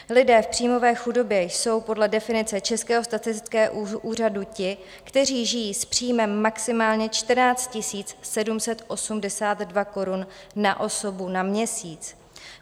Lidé v příjmové chudobě jsou podle definice Českého statistického úřadu ti, kteří žijí s příjmem maximálně 14 782 korun na osobu na měsíc.